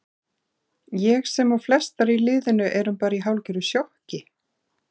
Ég sem og flestar í liðinu erum bara í hálfgerðu sjokki.